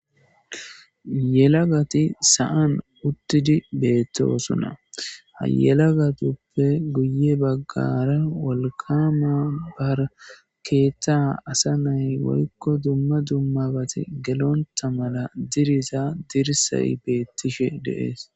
Yelagati sa'an uttidi beettoosunna hayelagatuppe guye baggara wolkama barkeeththa asa nay woykko dumma dummabati gelonta mala diriza dirsay beettishe deees